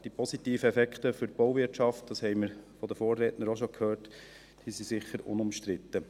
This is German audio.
Die positiven Effekte für die Bauwirtschaft, über die die Vorredner schon gesprochen haben, sind sicher unumstritten.